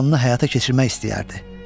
Planını həyata keçirmək istəyərdi.